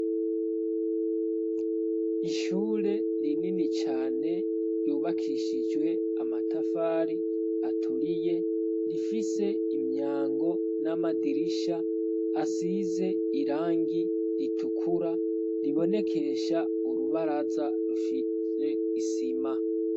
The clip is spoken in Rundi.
Ishure rinini cane ryubakishijwe amatafari aturiye rifise imyango n'amadirisha asize irangi ritukura ribonekesha urubaraza rufise isima.